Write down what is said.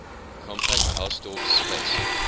compact hausdorff space